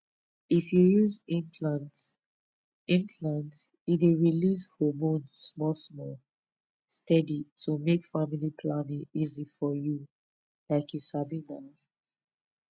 if you use implant implant e dey release hormone small-small steady to make family planning easy for you — like you sabi na.